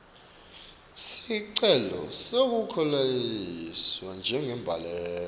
sicelo sekukhuseliswa njengembaleki